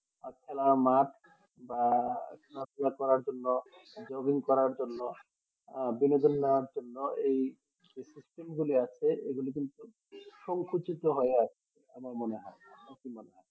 খেলার মাঠ বা খেলাধুলা করার জন্য jogging করার জন্য আহ বিনোদন করার জন্য এই যে system গুলি আছে এ গুলি কিন্তু সংকুচিত হয়ে আসছে আমার মনে হয় তোমার কি মনে হয়